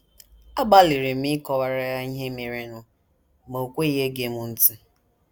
Agbalịrị m ịkọwara ya ihe merenụ, ma o kweghị ege m ntị.